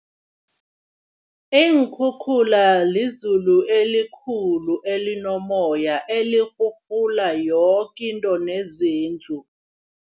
Iinkhukhula lizulu elikhulu elinomoya, elirhurhula yoke into nezindlu.